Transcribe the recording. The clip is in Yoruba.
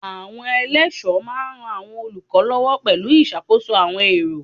Àwọn eléso máa ran àwọn olùkọ́ lọ́wọ́ pẹ̀lú ìṣàkóso àwọn èrò.